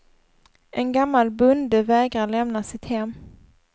En gammal bonde vägrar lämna sitt hem.